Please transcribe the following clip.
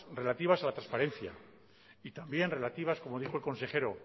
relativas a la transparencia y también relativas como dijo el consejero